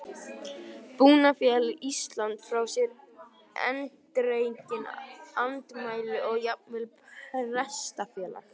Búnaðarfélag Íslands sendi frá sér eindregin andmæli og jafnvel Prestafélag